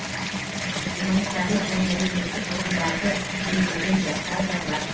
гуманитарлық және әлеуметтік ғылымдарды меңгерген жастар да бар